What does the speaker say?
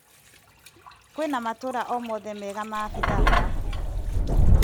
Kwĩna matũra o mothe mega ma pitha haha.